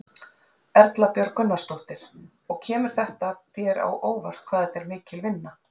Erla Björg Gunnarsdóttir: Og kemur þér á óvart hvað þetta er mikil vinna?